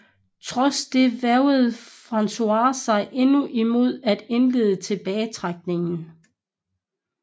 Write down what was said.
Trods det vægrede François sig endnu imod at indlede tilbagetrækningen